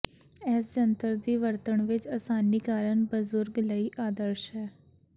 ਇਸ ਜੰਤਰ ਦੀ ਵਰਤਣ ਵਿੱਚ ਆਸਾਨੀ ਕਾਰਨ ਬਜ਼ੁਰਗ ਲਈ ਆਦਰਸ਼ ਹੈ